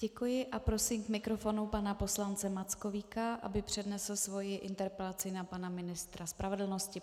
Děkuji a prosím k mikrofonu pana poslance Mackovíka, aby přednesl svoji interpelaci na pana ministra spravedlnosti.